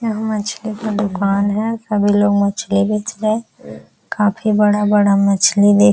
यहां मछली का दुकान है सभी लोग मछली बेच रहे हैं काफी बड़ा-बड़ा मछली दे --